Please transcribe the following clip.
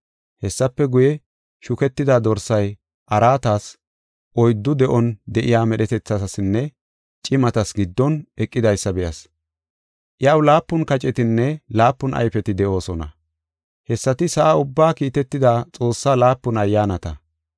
Hessafe guye, shuketida Dorsay araatas, oyddu de7on de7iya medhetethatasinne cimatas giddon, eqidaysa be7as. Iyaw laapun kacetinne laapun ayfeti de7oosona. Hessati sa7a ubbaa kiitetida Xoossaa laapun ayyaanata.